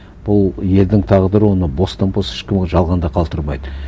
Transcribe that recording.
бұл елдің тағдыры оны бостан бос ешкім жалғанда қалдырмайды